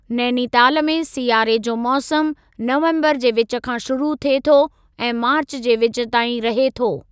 नैनीताल में सियारे जो मौसमु नवम्बरु जे विचु खां शुरू थिए थो ऐं मार्चु जे विचु ताईं रहे थो।